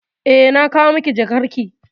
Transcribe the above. Eh, na kawo miki jakarki.